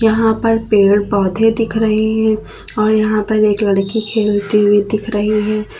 यहां पर पेड़ पौधे दिख रही है और यहां पर एक लड़की खेलते हुए दिख रही है।